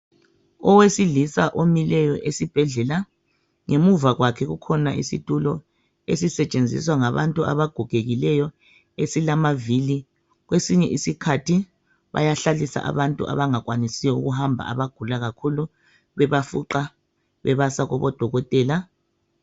Owesilisa omileyo esibhedlela ngemuva kwakhe kukhona isitulo esisetshenziswa ngabantu abagogekileyo esilamavili kwesinye isikhathi bayahlalisa abantu abangakwanisi to ukuhamba abagula kakhulu bebafuqa bebasa kubo dokotela.